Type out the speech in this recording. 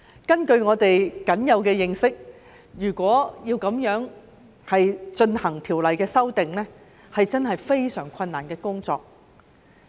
根據我們僅有的認識，如果要這樣進行條例修訂，會是一項非常困難的工作。